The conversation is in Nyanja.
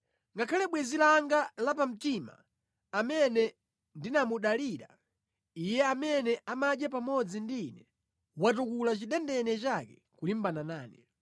Ngakhale bwenzi langa la pamtima amene ndinamudalira, iye amene amadya pamodzi ndi ine watukula chidendene chake kulimbana nane.